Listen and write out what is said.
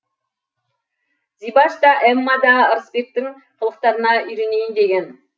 зибаш та эмма да ырысбектің қылықтарына үйренейін деген